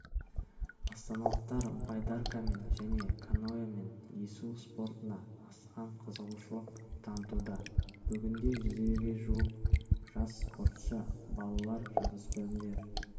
астаналықтар байдаркамен және каноэмен есу спортына асқан қызығушылық танытуда бүгінде жүзге жуық жас спортшы балалар жасөспірімдер